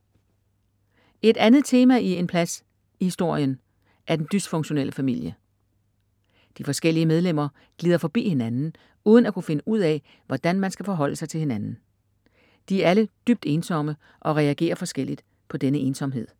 Et andet tema i En plads historien er den dysfunktionelle familie. De forskellige medlemmer glider forbi hinanden uden at kunne finde ud af, hvordan man skal forholde sig til hinanden. De er alle dybt ensomme og reagerer forskelligt på denne ensomhed.